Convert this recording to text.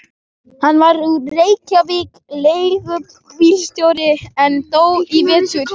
Hann var úr Reykjavík, leigubílstjóri, en dó í vetur.